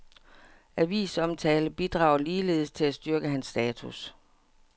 Avisomtale bidrager ligeledes til at styrke hans status.